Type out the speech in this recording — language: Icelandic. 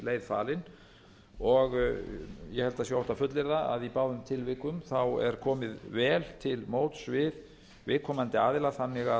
að óhætt sé að fullyrða að í báðum tilvikum er komið vel til móts við viðkomandi aðila þannig